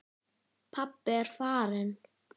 Hrafnar Jökull.